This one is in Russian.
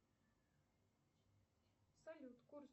салют курс